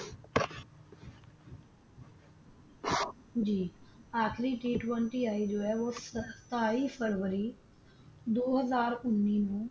ਜੀ ਆਖ਼ਿਰੀ T Twenty ਆਈ ਜੋ ਸਤਾਈ ਫਰਬਰੀ ਦੋ ਹਾਜ਼ਰ ਉਹਨੀ ਨੂੰ